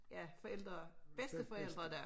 Ja forældre bedsteforældredag